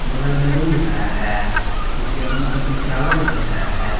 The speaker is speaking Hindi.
बगल में रूम दिख रहा है जिसके अंदर कुछ फ्लावर लगा दिख रहा है।